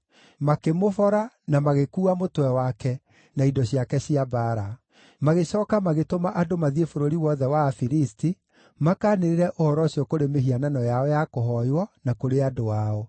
Makĩmũbora, na magĩkuua mũtwe wake, na indo ciake cia mbaara; magĩcooka magĩtũma andũ mathiĩ bũrũri wothe wa Afilisti makaanĩrĩre ũhoro ũcio kũrĩ mĩhianano yao ya kũhooywo, na kũrĩ andũ ao.